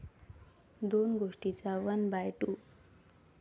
दोन गोष्टींचा 'one by to'